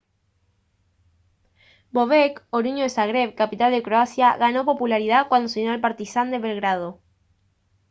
bobek oriundo de zagreb capital de croacia ganó popularidad cuando se unió al partizan de belgrado